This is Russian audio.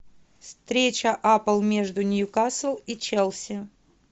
встреча апл между ньюкасл и челси